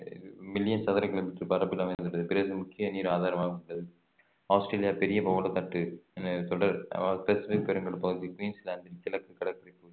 million சதுர kilometre பரப்பளவில் அமைந்துள்ளது பிறகு முக்கிய நீர் ஆதாரமாக உள்ளது ஆஸ்திரேலியா பெரிய பவளத்திட்டு தொடர் அஹ் பசுபிக் பெருங்கடல் பகுதி குயின்ஸ்லாந்தின் கிழக்கு கடற்கரை